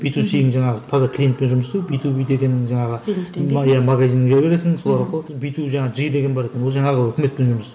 би ту сиің жаңағы таза клиентпен жұмыс істеу би ту би деген жаңағы магазинге бересің сол арқылы би ту жаңағы жи деген бар екен ол жаңағы өкіметпен жұмыс